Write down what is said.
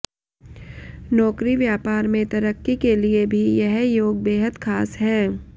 नौकरी व्यापार में तरक्की के लिए भी यह योग बेहद खास है